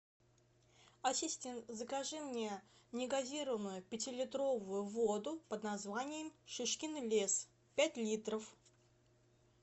ассистент закажи мне негазированную пятилитровую воду под названием шишкин лес пять литров